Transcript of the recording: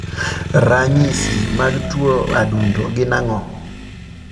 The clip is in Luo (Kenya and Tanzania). Ranyisi mag tuo adundo gin ang'o?